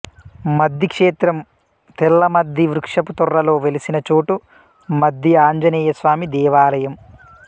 మద్ది క్షేత్రం తెల్ల మద్ది వృక్షపు తొర్రలో వెలిసిన చోటు మద్ది ఆంజనేయస్వామి దేవాలయం